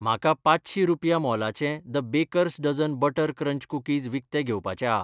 म्हाका पांचशीं रुपया मोलाचें the baker's dozen butter crunch cookies विकतें घेवपाचें आ